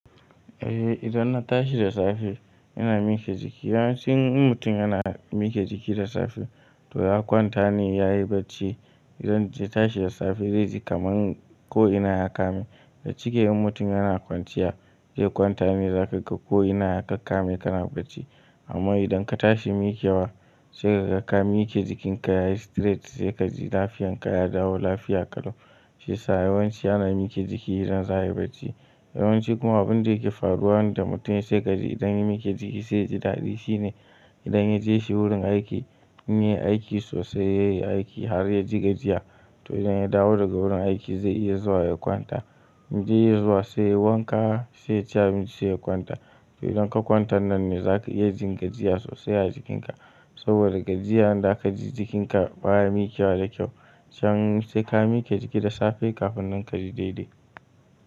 Eh idan na tashi da safe ina mike jiki. Yawancin mutum yana mike jiki da safe to ya kwanta ne yayi barci. Idan ya tashi da safe dai ji kaman ko ina ya kame. Ga cike yin mutum yana kwanciya zai kwanta ne zaka ga ko ina ya kakkame kana barci. Amma idan ka tashi mikewa sai ka ga ka mike jikinka yayi straight sai kaji lafiyan ka ya dawo lafiya kalau shine yasa yawanci ana mike jiki idan za a yi barci. Yawanci kuma abin da yake faruwa ne da mutum ya sai kaji idan ya mike jiki sai yaji dadi shine idan ya je shi wurin aiki yin aiki sosai yayi aiki har ya ji gajiya to idan ya dawo daga wurin aiki zai iya zuwa ya kwanta. In je ya zuwa sai wanka sai ci abinci sai ya kwanta. To idan ka kwanta nan ne zaka iya jin gajiya sosai a jikinka saboda gajiyar da aka ji jikinka baya mikewa da kyau. Can sai ka mike jiki da safe kafin nan kaji daidai.